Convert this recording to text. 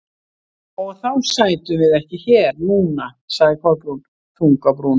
Og þá sætum við ekki hér núna- sagði Kolbrún, þung á brún.